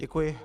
Děkuji.